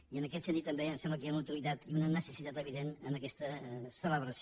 i en aquest sentit també em sembla que hi ha una utilitat i una necessitat evident en aquesta celebració